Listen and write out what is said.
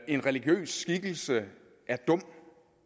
en religiøs skikkelse er dum